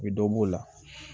U bɛ dɔ b'o la